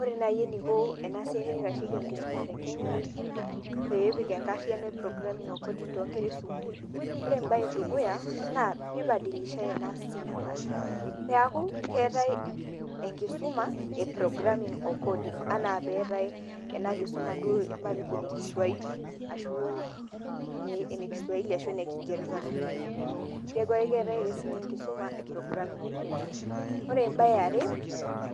Ore naayi eneiko enasiai naitashoki enkishuma tekenya peepik enkariyiano ee programming coding toonkera esukuul. Ore embae edukuya naa peebadilishai silabas, peeku keetai enkisuma e [ca]programing o coding enaa enaa peetai ena kisuma duo matejo ene kiswaili, ashu ene kiswaili ashu ene kingereza too sukuulini, neeku keetai ake sininye enkisuma e programming o d Coding .Ore embae eare